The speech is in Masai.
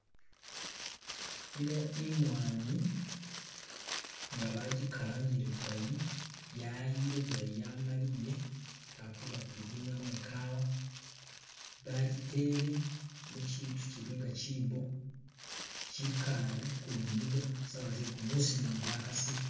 Eno imwanyi nga bagikalangile bulayi, yayile bulayi yamaliyile balikuza kugigunyamo ikawa, bagitele muchitu kyilinga chiibo kyikale kulunyinga sawa ze gumusi mumu gwakasile